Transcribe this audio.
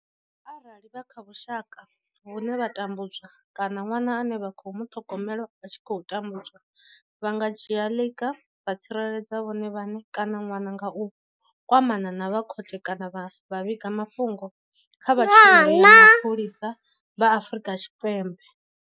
Arali vha kha vhushaka vhune vha tambu dzwa kana ṅwana ane vha khou muṱhogomela a tshi khou tambudzwa, vha nga dzhia ḽiga vha tsireledza vhone vhaṋe kana ṅwana nga u kwamana na vha khothe kana vha vhiga mafhungo kha vha tshumelo ya mapholisa vha Afrika Tshipembe.